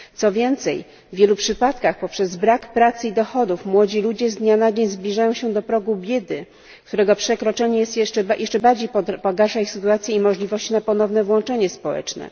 Co więcej, w wielu przypadkach poprzez brak pracy i dochodów młodzi ludzie z dnia na dzień zbliżają się do progu biedy, którego przekroczenie jeszcze bardziej pogarsza ich sytuację i możliwości na ponowne włączenie społeczne.